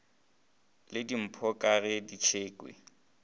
le dimpho ka ge tšekhwi